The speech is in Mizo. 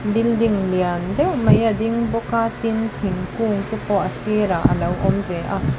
building lian deuh mai a ding bawk a tin thingkung te pawh a sirah a lo awm ve a.